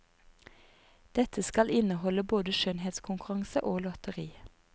Dette skal inneholde både skjønnhetskonkurranse og lotteri.